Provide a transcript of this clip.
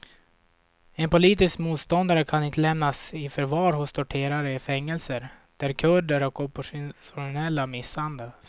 En politisk motståndare kan inte lämnas i förvar hos torterare i fängelser där kurder och oppositionella misshandlas.